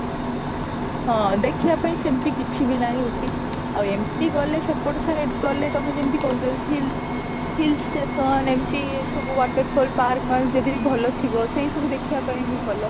ହଁ, ଦେଖିବା ପାଇଁ ସେମିତି କିଛି ବି ନାହିଁ scooty ଆଉ ଏମିତି ଗଲେ ସେପଟେ side ଗଲେ ତମେ ଯେମିତି କହୁଛ hill hill station ଏମିତି ସବୁ water fall park ଯଦି ଭଲ ଥିବ ସେଇ ସବୁ ଦେଖିବା ପାଇଁ ବି ଭଲ